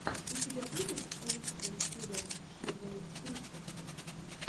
у тебя будет лучшая серия шэдоу пристока